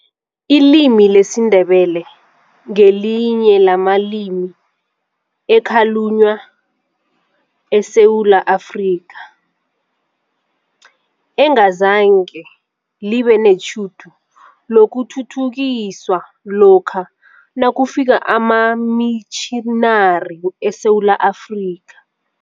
Ilimi lesiNdebele ngelinye lamalimi ekhalunywa eSewula Afrika, engazange libe netjhudu lokuthuthukiswa lokha nakufika amamitjhinari eSewula Afrika.